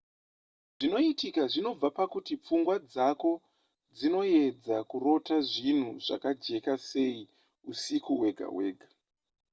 zvinoitika zvinobva pakuti pfungwa dzako dzinoedza kurota zvinhu zvakajeka sei usiku hwega hwega